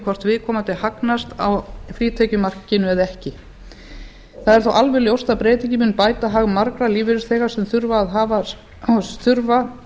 hvort viðkomandi hagnast á frítekjumarkinu eða ekki það er þó alveg ljóst að breytingin mun bæta hag margra lífeyrisþega sem þurfa